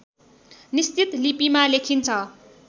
निश्चित लिपिमा लेखिन्छ